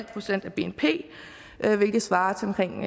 procent af bnp hvilket svarer til omkring